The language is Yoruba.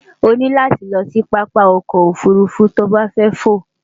o ní láti lo̩ sí pápá o̩kò̩ ofùrufú tí o bá fé̩ fò.